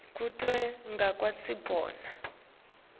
kute ngikwati kubona